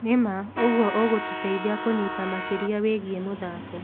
Nĩ ma, ũguo ũgũtũteithia kũnyita makĩria wĩgie mũthako.